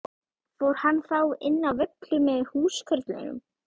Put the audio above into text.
Fór hann þá inn á Völlu með húskörlum.